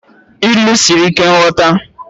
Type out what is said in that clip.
Ilu siri ike nghọta